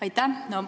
Aitäh!